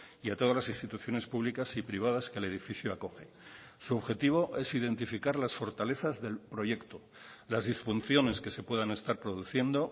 y a todas las instituciones públicas y privadas que el edificio acoge su objetivo es identificar las fortalezas del proyecto las disfunciones que se puedan estar produciendo